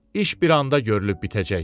İş bir anda görülüb bitəcək.